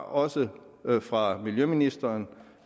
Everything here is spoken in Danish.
også fra miljøministeren